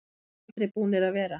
Við erum aldrei búnir að vera.